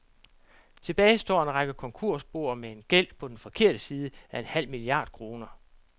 Tilbage står en række konkursboer med gæld på den forkerte side af en halv milliard kroner.